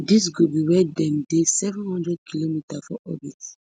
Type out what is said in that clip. dis go be wen dem dey seven hundredkm for orbit